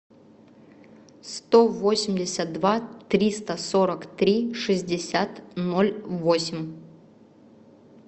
сто восемьдесят два триста сорок три шестьдесят ноль восемь